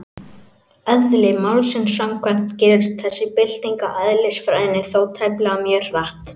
Eðli málsins samkvæmt gerist þessi bylting á eðlisfræðinni þó tæplega mjög hratt.